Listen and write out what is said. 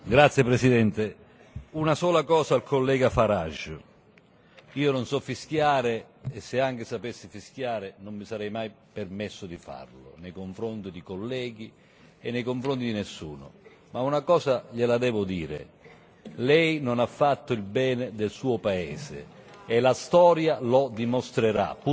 Signor Presidente, onorevoli colleghi, una sola cosa al collega Farage. Io non so fischiare e se anche sapessi fischiare non mi sarei mai permesso di farlo nei confronti di colleghi e nei confronti di nessuno, ma una cosa gliela devo dire Lei non ha fatto il bene del suo paese e la storia lo dimostrerà.